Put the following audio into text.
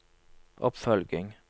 oppfølging